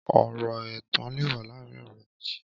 Ọrọ ẹtàn lè wà làárin ọrẹ méji